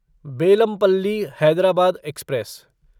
Bellampalli Hyderabad express